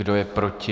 Kdo je proti?